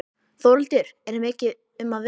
Þórhildur, er mikið um að vera?